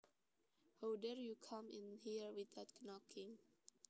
How dare you come in here without knocking